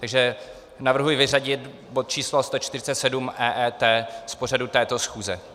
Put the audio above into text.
Takže navrhuji vyřadit bod číslo 147, EET z pořadu této schůze.